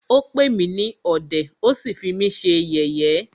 Ó pè mí ní ọ̀dẹ̀,ó sí fí mí ṣe yẹ̀yé.